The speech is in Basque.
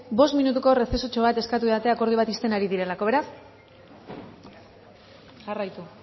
bost minutuko errezesotxo bat eskatu didate akordio bat ixten ari direlako beraz jarraitu